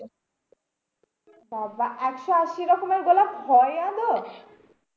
বাবা একশো আশি রকমের গোলাপ হয় আদেও?